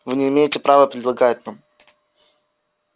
вы не имеете права предлагать нам